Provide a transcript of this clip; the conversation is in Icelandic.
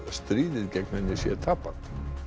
stríðið gegn henni tapað